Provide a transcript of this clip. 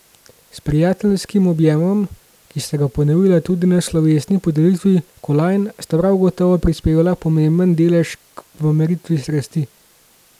S prijateljskim objemom, ki sta ga ponovila tudi na slovesni podelitvi kolajn, sta prav gotovo prispevala pomemben delež k pomiritvi strasti.